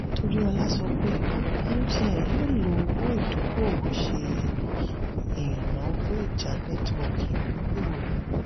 toriola sọ pé mtn yóò lọ owó idokowo ṣe ìnáwó ìjá netiwoki imubgooro.